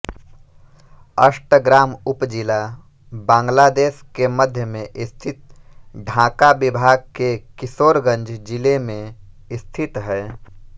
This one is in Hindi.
अष्टग्राम उपजिला बांग्लादेश के मध्य में स्थित ढाका विभाग के किशोरगंज जिले में स्थित है